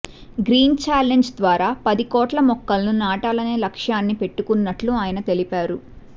green challenge ద్వారా పది కోట్ల మొక్కలను నాటాలనే లక్ష్యాన్ని పెట్టుకున్నట్లు ఆయన తెలిపారు